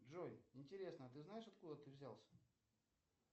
джой интересно ты знаешь откуда ты взялся